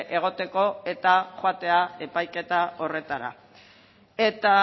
egoteko eta joatea epaiketa horretara eta